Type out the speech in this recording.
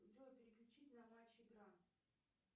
джой переключить на матч игра